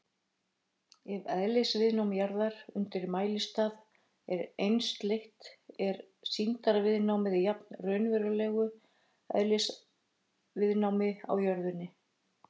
Ef eðlisviðnám jarðar undir mælistað er einsleitt er sýndarviðnámið jafnt raunverulegu eðlisviðnámi í jörðinni.